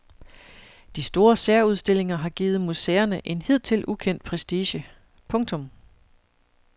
De store særudstillinger har givet museerne en hidtil ukendt prestige. punktum